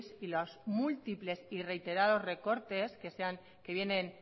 y los múltiples y reiterados recortes que vienen